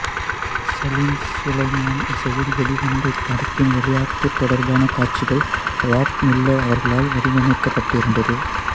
சலிம் சுலைமான் இசையில் வெளிவந்த இப்படத்தின் விளையாட்டு தொடர்பான காட்சிகள் ராப் மில்லர் அவர்களால் வடிவமைக்கப்பட்டிருந்தது